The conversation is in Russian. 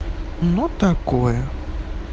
ну такое